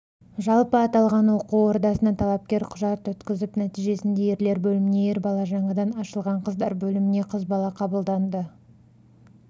жалпы аталғаноқу ордасына талапкер құжат өткізіп нәтижесінде ерлер бөліміне ер-бала жаңадан ашылған қыздар бөліміне қыз-бала қабылданды